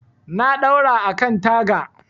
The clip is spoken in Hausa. Na ɗaura a kan taga.